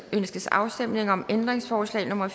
ønskes afstemning om ændringsforslag nummer